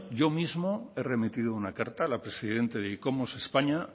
yo mismo he remitido una carta a la presidenta de icomos españa